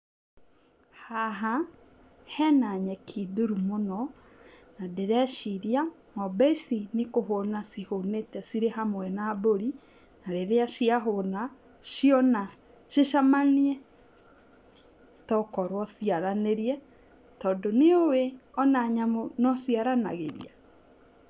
Haha hena nyeki nduru mũno nĩ ndĩreciria ng'ombe ici nĩ kũhũna cihũnĩte cirĩ hamwe na mbũri, na rĩrĩa ciahũna ciona cicamanie tokorwo ciaranĩrie tondũ nĩũĩ ona nyamũ nociaranagĩria?